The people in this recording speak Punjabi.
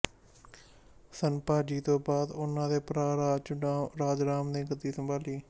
ਸੰਭਾਜੀ ਤੋਂ ਬਾਅਦ ਉਨ੍ਹਾਂ ਦੇ ਭਰਾ ਰਾਜਰਾਮ ਨੇ ਗੱਦੀ ਸੰਭਾਲੀ